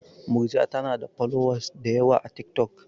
Murja tanada folowas dayawa a tik tok